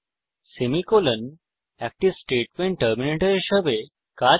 semicolon একটি statement terminator হিসাবে কাজ করে